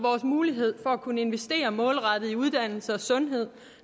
mulighed for at kunne investere målrettet i uddannelse og sundhed